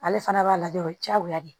Ale fana b'a lajɛ o ye diyagoya ye